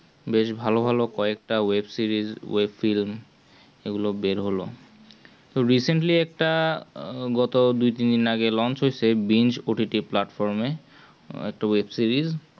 বেশ ভালো ভালো কি একটা web series web film এগুলো বের হলো তো recently একটা আহ গত দুই তিনদিন আগে launch হৈছেতো সেই benchOTT এর platform এ two web series